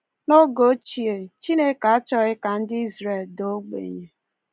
N’oge ochie, Chineke achọghị ka ndị Izrel daa ogbenye.